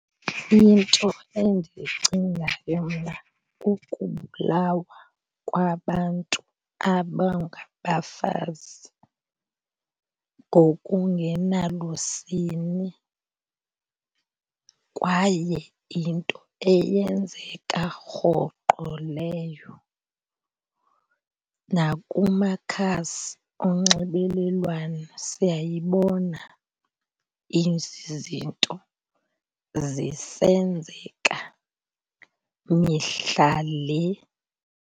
Into endiyicingayo mna kukubulawa kwabantu abangabafazi ngokungenalusini kwaye yinto eyenzeka rhoqo leyo. Nakumakhasi onxibelelwano siyayibona, ezi zinto zisenzeka mihla le.